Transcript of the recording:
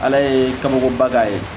Ala ye kamanko ba ye